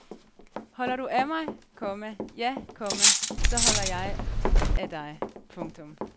Holder du af mig, komma ja, komma så holder jeg af dig. punktum